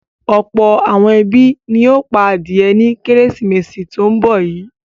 Ọ̀pọ̀ àwọn ẹbí ni yóò pa adìẹ ní Kérésìmesì tó ń bọ̀ yìí.